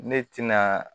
Ne tɛna